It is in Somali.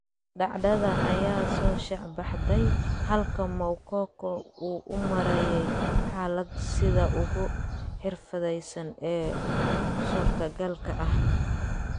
Dhacdada ayaa soo shaacbaxday, halka Moukoko uu u maareeyay xaaladda sida ugu xirfadaysan ee suurtogalka ah.